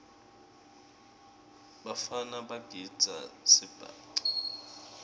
bafana bagidza sibhaca